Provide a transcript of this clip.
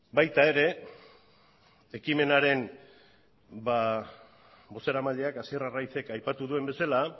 baita ere ekimenaren bozeramaileak hasier arraizek aipatu duen bezala